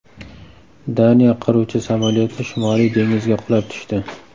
Daniya qiruvchi samolyoti Shimoliy dengizga qulab tushdi .